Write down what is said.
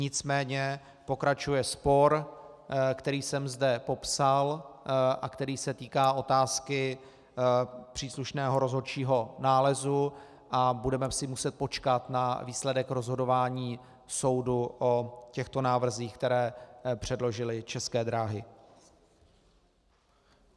Nicméně pokračuje spor, který jsem zde popsal a který se týká otázky příslušného rozhodčího nálezu a budeme si muset počkat na výsledek rozhodování soudu o těchto návrzích, které předložily České dráhy.